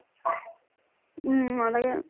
উম, নালাগে ।